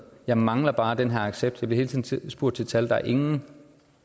jeg mangler bare den her accept jeg bliver hele tiden spurgt til tal der er ingen